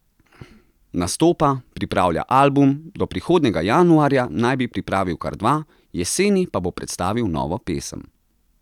Nastopa, pripravlja album, do prihodnjega januarja naj bi pripravil kar dva, jeseni pa bo predstavil novo pesem.